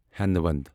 ہینٛد ویٚند